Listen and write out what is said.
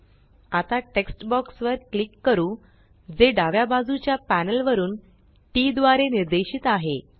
आता text box text box वर click करू जे डाव्या बाजूच्या पॅनल वरुन टीटी द्वारे निर्देशित आहे